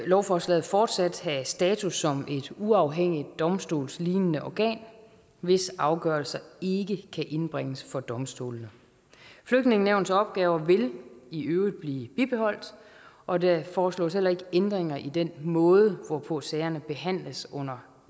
lovforslaget fortsat have status som et uafhængigt domstolslignende organ hvis afgørelser ikke kan indbringes for domstolene flygtningenævnets opgaver vil i øvrigt blive bibeholdt og der foreslås heller ikke ændringer i den måde hvorpå sagerne behandles under